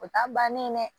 O ta bannen dɛ